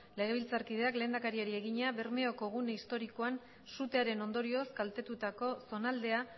legebiltzarkideak lehendakariari egina bermeoko gune historikoan sutearen ondorioz kaltetutako zonaldea